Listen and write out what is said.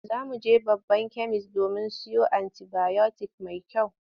Za mu je babban kemis domin mu siyo anti-bayotik mai kyau.